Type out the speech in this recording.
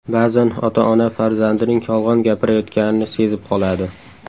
Ba’zan ota-ona farzandining yolg‘on gapirayotganini sezib qoladi.